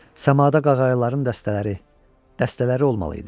Səmada qağayıların dəstələri, dəstələri olmalı idi.